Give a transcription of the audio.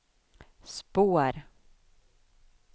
spår